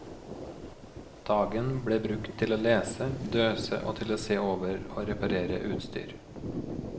Dagen blir brukt til å lese, døse og til å se over og reparere utstyr.